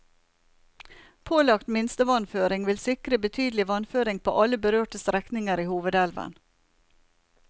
Pålagt minstevannføring vil sikre betydelig vannføring på alle berørte strekninger i hovedelven.